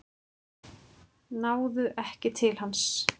Náðu ekki til hans